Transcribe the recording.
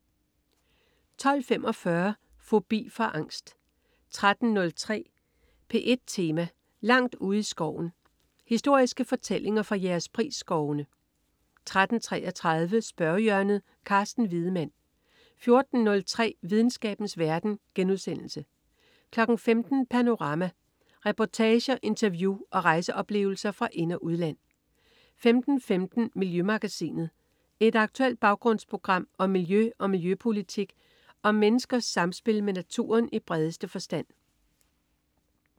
12.45 Fobi for angst 13.03 P1 Tema: Langt ude i skoven. Historiske fortællinger fra Jægerspris-skovene 13.33 Spørgehjørnet. Carsten Wiedemann 14.03 Videnskabens verden* 15.00 Panorama. Reportager, interview og rejseoplevelser fra ind- og udland 15.15 Miljømagasinet. Et aktuelt baggrundsprogram om miljø og miljøpolitik og om menneskers samspil med naturen i bredeste forstand